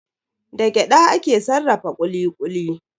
Da gyada ake sarrafa kuli-kuli.